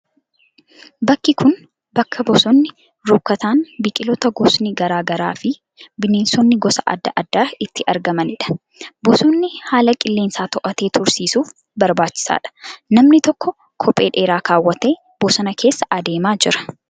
Bakki kun, bakka bosonni rukkataan biqiloota gosni garaa garaa fi bineensonni gosa adda addaa itti argamanii dha. Bosonni haala qilleensaa to'atee tursiisuuf barbaachisaa dha. Namni tokko kophee dheeraa kaawwatee bosona keessa adeemaa jira.